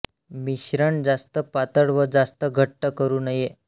मिश्रण जास्त पातळ व जास्त घट्ट करु नये